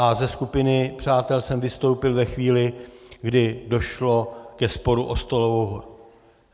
A ze skupiny přátel jsem vystoupil ve chvíli, kdy došlo ke sporu o stolovou horu.